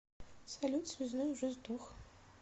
салют связной уже сдох